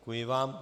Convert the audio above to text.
Děkuji vám.